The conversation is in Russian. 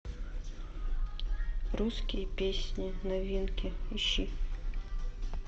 русские песни новинки ищи